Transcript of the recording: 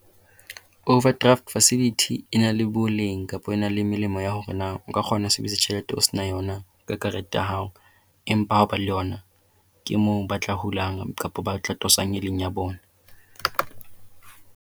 Overdraft facility e na le boleng kapa e na le melemo ya hore na o ka kgona ho sebedisa tjhelete o se na yona kareteng ya hao, empa ha o ba le yona ke moo ba tla hulang kapa ba tla tosang e leng ya bona.